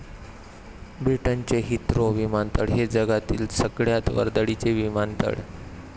ब्रिटनचे हिथ्रो विमानतळ हे जगातील सगळयात वर्दळीचे विमानतळ.